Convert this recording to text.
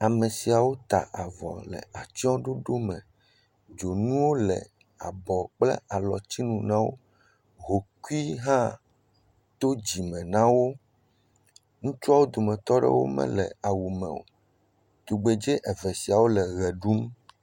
Ame siawo ta avɔ le atsyɔ̃ɖoɖome. Dzonu le afɔ kple alɔtsinu na wo. Hokui hã to dzime na wo. Ŋutsuawo dometɔ aɖewo mele awume o. Tugbedze eve siawole ʋe ɖum.